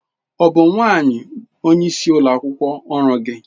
Ọ bụ nwanyị onye isi ụlọ ọrụ gị?